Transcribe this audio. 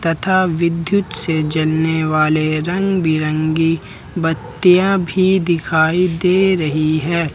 तथा विद्युत से जलने वाले रंग बिरंगी बत्तियां भी दिखाई दे रही है।